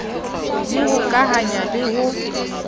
d ho hokahanya le ho